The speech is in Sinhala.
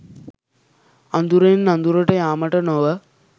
අඳුරෙන් අඳුරට යාමට නොව